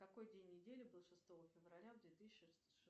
какой день недели был шестого февраля две тысячи